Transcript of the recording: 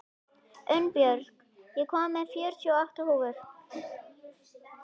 Unnbjörn, ég kom með fjörutíu og átta húfur!